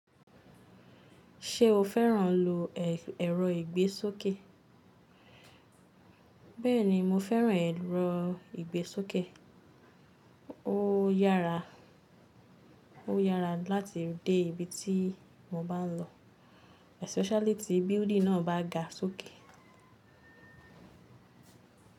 Ṣé o fẹ́ràn lilo ẹ̀rọ ìgbésókè? Bẹ́ẹ̀ni, mo fẹ́ràn ẹ̀rọ ìgbésókè. Ó yára, ó yára láti dé ibi tí mo bá ń lọ especially tí building náà bá ga sókè.